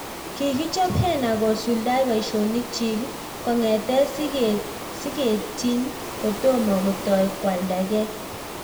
Kikichoop heena kosuldai poishonik chiik kongetee sigeetnyii kotomoo kotai koaldaa gei